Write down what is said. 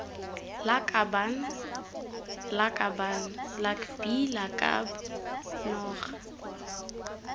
lakabaaan lakaban lakbi lakab noga